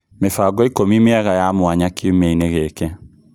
mĩbango ikũmi mienga ya mwanya kĩũmiainĩ gĩkĩ